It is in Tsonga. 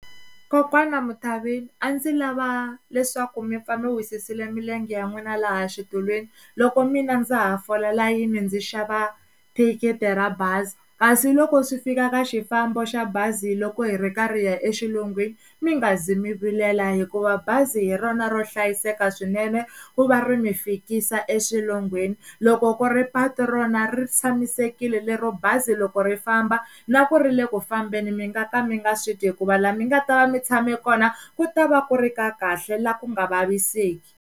Kokwana Mthavini a ndzi lava leswaku mi pfa mi wisisile milenge ya n'wina laha xitulwini loko mina ndza ha fola layeni ndzi xava thikithi ra bazi kasi loko swi fika ka xifambo xa bazi loko hi ri karhi hi ya exilungwini mi nga zi mi vilela hikuva bazi hi rona ro hlayiseka swinene ku va ri mi fikisa exilungwini loko ku ri patu rona ri tshamisekile lero bazi loko ri famba na ku ri le ku fambeni mi nga ka mi nga switwi hikuva la mi nga ta va mi tshame kona ku ta va ku ri ka kahle la ku nga vaviseki.